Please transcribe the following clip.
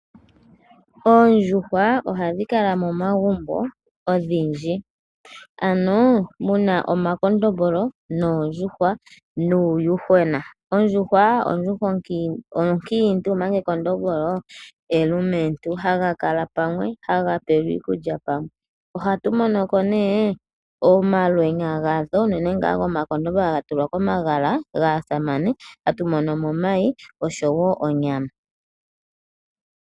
Oondjuhwa ohadhi kala momagumbo odhindji. Ano muna omakondombolo, noondjuhwa nuuyuhwena. Ondjuhwa onkiintu omanga ekondombolo elumentu. Haga kala pamwe, haga pelwa iikulya pamwe. Ohatu mono ko nee omalwenya gatho uunene ngaa gomakondombolo haga tulwa komagala gaasamane, hatu mono mo omayi oshowo onyama.